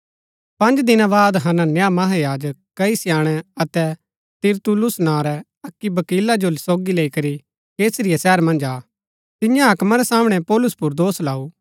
पँज दिना बाद हनन्याह महायाजक कई स्याणै अतै तिरतुल्लुस नां रै अक्की वकीला जो सोगी लैई करी कैसरिया शहर मन्ज आ तिन्ये हाकमा रै सामणै पौलुस पुर दोष लाऊ